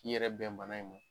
K'i yɛrɛ bɛn bana in ma.